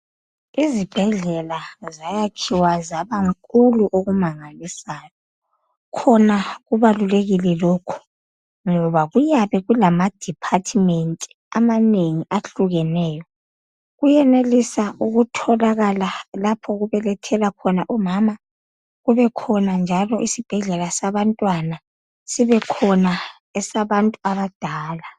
izibhedlela zayakhiwa zaba nkulu okumangalisayo khona kubalulekile lokho ngoba kuyabe kulama department amanengi ahlukeneyo kuyenelisa ukutholakala lapha okubelethwelwa khona umamakube khona njalo isibhedlela sabantwana sibekhona esabantu abadala